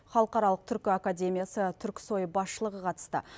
халықаралық түркі академиясы түркісой басшылығы қатысты